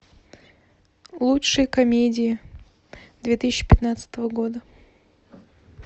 лучшие комедии две тысячи пятнадцатого года